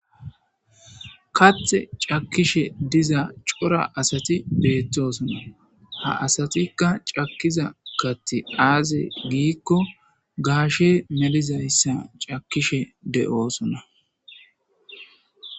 Kathe c'akishe diza c'ora asati betosona ha asatika c'akiza kathi aze giko gaashe melizaysa c'akishe de'osona.